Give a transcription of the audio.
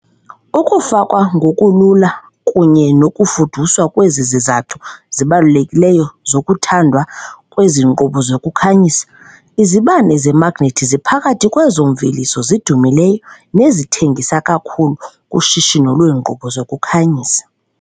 Ukufakwa ngokulula kunye nokufuduswa kwezi zizathu zibalulekileyo zokuthandwa kwezi nkqubo zokukhanyisa. Izibane zemagnethi ziphakathi kwezo mveliso zidumileyo nezithengisa kakhulu kushishino lweenkqubo zokukhanyisa.